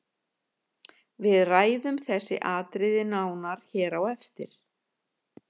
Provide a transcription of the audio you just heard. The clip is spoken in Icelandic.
Við ræðum þessi atriði nánar hér á eftir.